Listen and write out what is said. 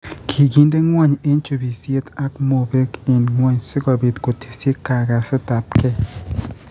Ki kinde ng'wony eng' chubisyet ak mobeek eng' ng'wony, si kobiit kotesyi kagasetapkei.